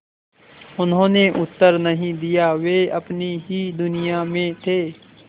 उन्होंने उत्तर नहीं दिया वे अपनी ही दुनिया में थे